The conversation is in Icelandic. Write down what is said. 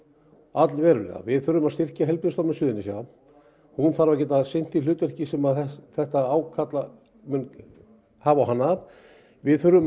allverulega við þurfum að styrkja Heilbrigðisstofnun Suðurnesja hún þarf að geta sinnt því hlutverki sem þetta ákall mun hafa á hana við þurfum